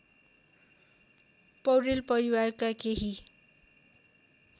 पौडेल परिवारका केही